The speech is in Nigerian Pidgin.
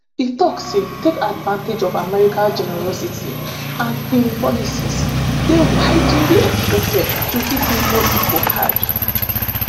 e tok say take advantage of america generosity and im policies dey widely expected to hit mexico hard.